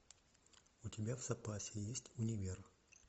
у тебя в запасе есть универ